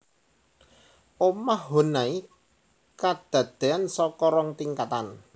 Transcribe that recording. Omah Honai kadadéan saka rong tingkatan